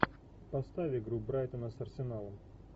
поставь игру брайтона с арсеналом